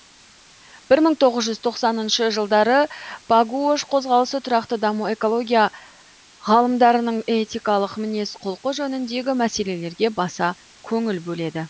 бір мың тоғыз жүз тоқсаныншы жылдары пагуош қозғалысы тұрақты даму экология ғалымдарының этикалық мінез құлқы жөніндегі мәселелерге баса көңіл бөледі